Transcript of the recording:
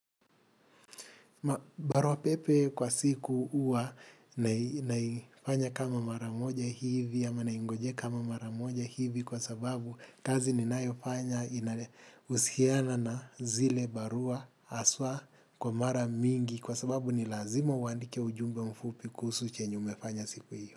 Barua pepe kwa siku huwa naifanya kama mara moja hivi ama naingojea kama mara moja hivi kwa sababu kazi ninayofanya inale husiana na zile barua haswa kwa mara mingi kwa sababu ni lazima uandike ujumbe mfupi kuhusu chenye umefanya siku hiyo.